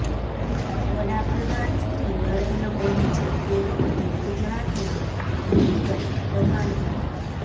વડા પ્રધાન શ્રી નરેન્દ્ર મોદીજી તે વખતે ગુજરાતના મુખ્ય પ્રધાન હતા